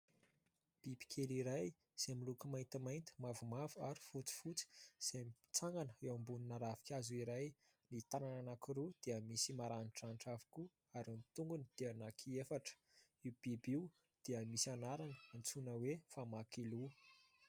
Bibikely iray izay miloko maintimainty, mavomavo ary fotsifotsy izay mitsangana eo ambonina ravin-kazo iray, ny tanany anankiroa dia misy maranidranitra avokoa ary ny tongony dia anankiefatra. Io biby io dia misy anarana antsoina hoe"famakiloha".